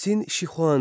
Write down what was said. Sin Şixuandi.